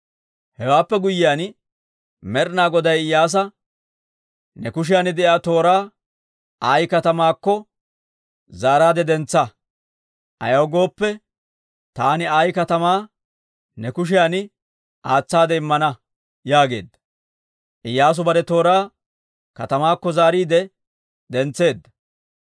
Hewaappe guyyiyaan Med'ina Goday Iyyaasa, «Ne kushiyan de'iyaa tooraa Ayi katamaakko zaaraadde dentsa. Ayaw gooppe, taani Ayi katamaa ne kushiyan aatsaade immana» yaageedda. Iyyaasu bare tooraa katamaakko zaariide dentseedda.